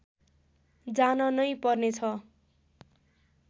जान नै पर्नेछ